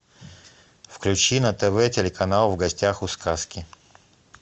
включи на тв телеканал в гостях у сказки